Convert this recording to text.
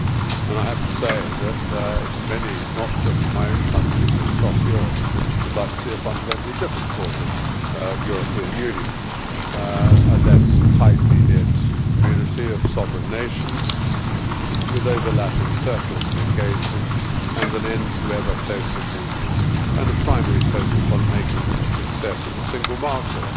I have to say that many not just in my own country but across Europe would like to see a fundamentally different sort of European Union a less tightly knit community of sovereign nations, with overlapping circles of engagement, an end to ever closer union, and a primary focus on making a success of the single market.